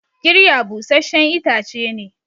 kirya busasshen itace ne